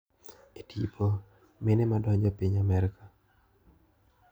E tipo: Mine ma donjo piny Amerka.